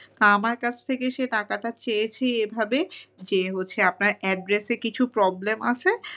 আমার কাছ থেকে সে টাকাটা চেয়েছে এভাবে যে আপনার address -এ কিছু problem আছে